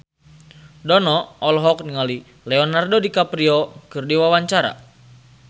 Dono olohok ningali Leonardo DiCaprio keur diwawancara